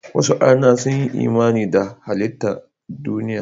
Wasu arna sun yi imani da halittan duniya.